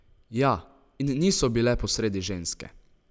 Ja, in niso bile posredi ženske.